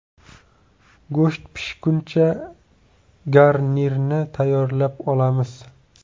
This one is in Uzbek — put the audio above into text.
Go‘sht pishguncha garnirni tayyorlab olamiz.